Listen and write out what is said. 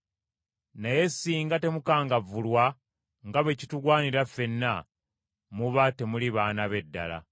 Naye singa temukangavvulwa, nga bwe kitugwanira ffenna, muba temuli baana be ddala.